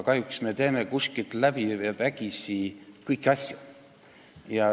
Kahjuks me teeme kuskilt läbi ja vägisi kõiki asju.